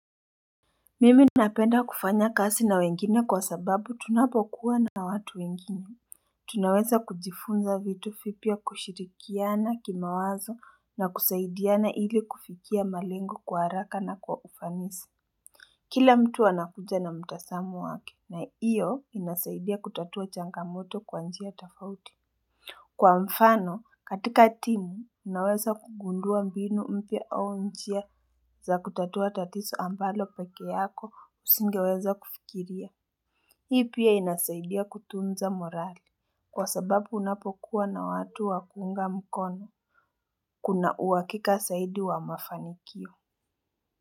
Mimi napenda kufanya kazi na wengine kwa sababu tunapokuwa na watu wengine Tunaweza kujifunza vitu vipya, kushirikiana kimawazo na kusaidiana ili kufikia malengo kwa haraka na kwa ufanisi. Kila mtu anakuja na mtazamo wake na hiyo inasaidia kutatua changamoto kwa njia tofauti. Kwa mfano, katika timu, unaweza kugundua mbinu mpya au njia za kutatua tatizo ambalo peke yako husingeweza kufikiria. Hii pia inasaidia kutunza morali. Kwa sababu unapokuwa na watu wa kuunga mkono, kuna uhakika zaidi wa mafanikio.